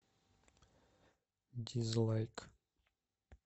дизлайк